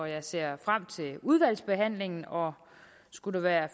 jeg ser frem til udvalgsbehandlingen og skulle der